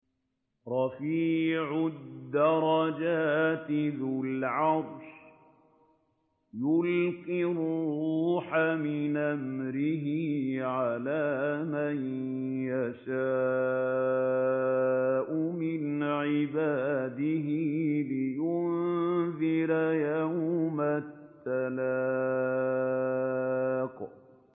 رَفِيعُ الدَّرَجَاتِ ذُو الْعَرْشِ يُلْقِي الرُّوحَ مِنْ أَمْرِهِ عَلَىٰ مَن يَشَاءُ مِنْ عِبَادِهِ لِيُنذِرَ يَوْمَ التَّلَاقِ